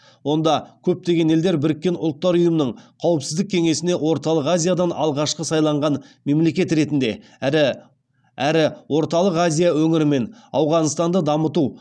онда көптеген елдер біріккен ұлттар ұйымының қауіпсіздік кеңесіне орталық азиядан алғашқы сайланған мемлекет ретінде әрі орталық азия өңірі мен ауғанстанды дамыту